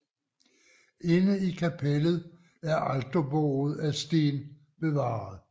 Inde i kapellet er alterbordet af sten bevaret